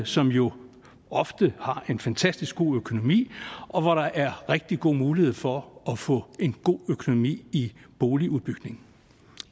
som jo ofte har en fantastisk god økonomi og hvor der er rigtig gode muligheder for at få en god økonomi i boligudbygning